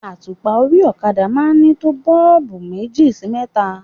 Àtùpà orí okada máa ń ní tó boolubu méjì sí mẹ́ta.